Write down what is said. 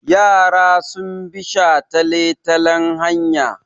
Yara sun bi shataletalen hanya.